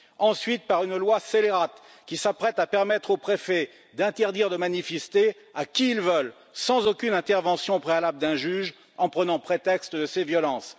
ensuite, par une loi scélérate, qui s'apprête à permettre aux préfets d'interdire de manifester à qui ils veulent, sans aucune intervention préalable d'un juge, en prenant prétexte de ces violences.